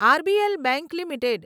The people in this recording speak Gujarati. RBL bank limited